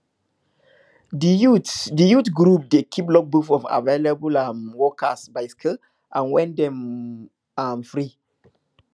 di youth di youth group dey keep logbook of available um workers by skill and when dem um free